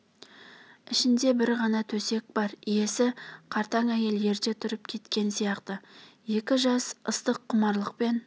ішінде бір ғана төсек бар иесі қартаң әйел ерте тұрып кеткен сияқты екі жас ыстық құмарлықпен